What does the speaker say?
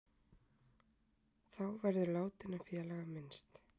Þá verður látinna félaga minnst